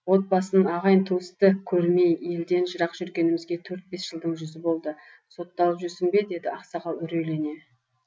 отбасын ағайын туысты көрмей елден жырақ жүргенімізге төрт бес жылдың жүзі болды сотталып жүрсің бе деді ақсақал үрейлене